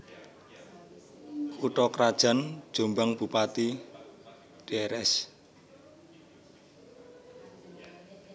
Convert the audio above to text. Kutha krajan JombangBupati Drs